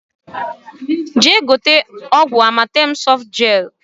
Jee gote ọgwụ Amatem sọfụtụ jel!